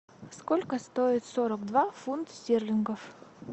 сколько стоит сорок два фунт стерлингов